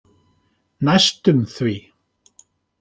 Næstum því.